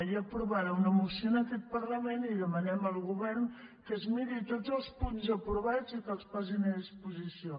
hi ha aprovada una moció en aquest parlament i demanem al govern que es miri tots els punts aprovats i que els posi a disposició